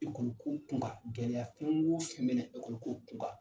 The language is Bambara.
Ekɔli ko kun kan, gɛlɛyaya fɛn o fɛn bɛna ekɔli ko kun kan